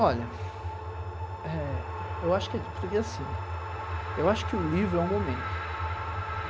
Olha, eh eu acho que, por que assim, eu acho que o livro é um momento.